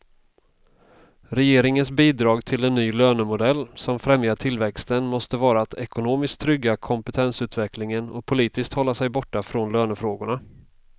Regeringens bidrag till en ny lönemodell som främjar tillväxten måste vara att ekonomiskt trygga kompetensutvecklingen och politiskt hålla sig borta från lönefrågorna.